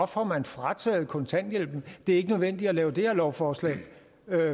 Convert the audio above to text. får man frataget kontanthjælpen det er ikke nødvendigt at lave det her lovforslag